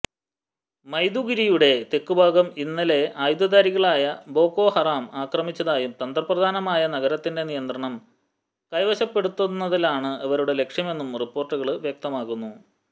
മൈദുഗുരിയുടെ തെക്കുഭാഗം ഇന്നലെ ആയുധധാരികളായ ബോകോ ഹറാം ആക്രമിച്ചതായും തന്ത്രപ്രധാനമായ നഗരത്തിന്റെ നിയന്ത്രണം കൈവശപ്പെടുത്തലാണ് ഇവരുടെ ലക്ഷ്യമെന്നും റിപ്പോര്ട്ടുകള് വ്യക്തമാക്കുന്നു